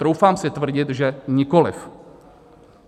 Troufám si tvrdit, že nikoliv.